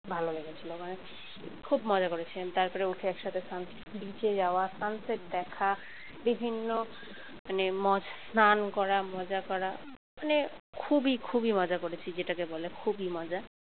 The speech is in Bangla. ভালো লেগেছিল মানে খুব মজা করেছিলাম তারপরে উঠে একসাথে sun beach এ যাওয়া sunset দেখা বিভিন্ন মানে ম স্নান করা মজা করা মানে খুবই খুবই মজা করেছি যেটাকে বলে খুবই মজা